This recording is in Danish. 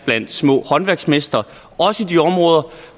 blandt små håndværksmestre også i de områder